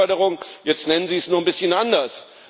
Exportförderung jetzt nennen Sie es nur ein bisschen anders.